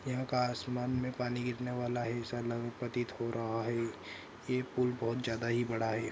यहां का आसमान मे पानी गिरने वाला है। हो रहा है। ये पुल बहुत ज्यादा ही बड़ा है।